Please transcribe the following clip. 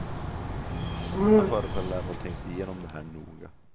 Han förefaller ha tänkt igenom det här noga.